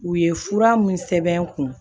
U ye fura mun sɛbɛn n kun